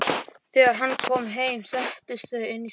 Þegar hann kom heim settust þau inn í stofu og